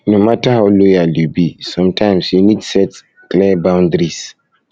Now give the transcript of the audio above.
no matter how loyal you be sometimes you need set need set clear boundaries